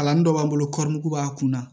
Kalanin dɔ b'an bolo b'a kun na